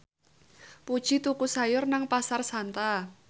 Puji tuku sayur nang Pasar Santa